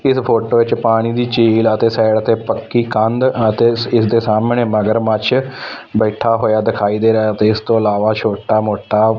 ਇੱਸ ਫ਼ੋਟੋ ਚ ਪਾਣੀ ਦੀ ਝੀਲ ਐ ਤੇ ਸਾਈਡ ਤੇ ਪੱਕੀ ਕੰਧ ਅਤੇ ਸੀਰ ਦੇ ਸਾਹਮਣੇ ਮਗਰਮੱਛ ਬੈਠਾ ਹੋਇਆ ਦਿਖਾਈ ਦੇ ਰਿਹਾ ਹੈ ਅਤੇ ਇਸਤੋਂ ਇਲਾਵਾ ਛੋਟਾ ਮੋਟਾ--